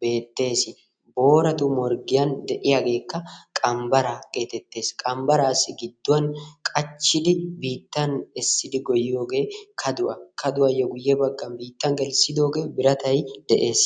beettees. Booratu morggiyan de'iyageekka qanbbaraa geetettees. Qanbbaraassi gidduwan qachchidi biittan essidi goyiyogee kaduwa kaduwayyo guye biittan gelissidoogee biratay de'ees.